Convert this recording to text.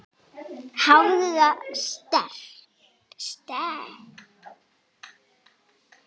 Hafðu það sterkt.